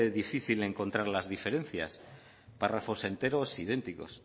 difícil encontrar las diferencias párrafos enteros idénticos